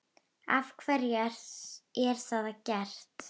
Af hverju er það gert?